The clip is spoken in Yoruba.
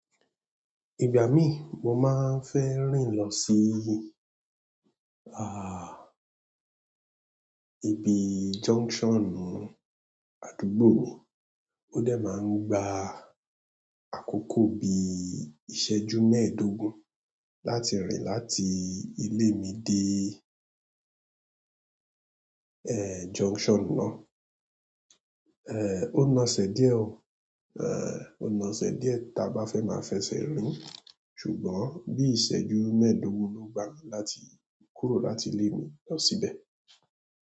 Ìgbà mí mo máa ń fẹ́ rìn lọ sí, ah, ibi junction àdúgbò mi, ó dẹ̀ máa ń gba àkókò bí ìṣẹ́jú mẹ́ẹ̀dógún láti rìn láti ilé mi dé, eh, junction náà. Eh, ó naṣẹ̀ díẹ̀ oo, eh, ó naṣẹ̀ díẹ̀ tí a bá fẹ́ máa fẹ́ ṣẹ rìn-ín, ṣùgbọ́n bí ìṣẹ́jú mẹ́ẹ̀dógún ló gba láti kúrò láti ilé mi lọ síbẹ̀.